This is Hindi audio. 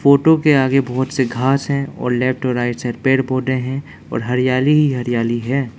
फोटो के आगे बहोत से घास है और लेफ्ट और राइट से पेड़ पौधे हैं और हरियाली हरियाली है।